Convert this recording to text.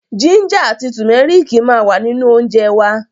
Jínjà àti tùmẹ́rìkì ma wà nínú óńjẹ wa.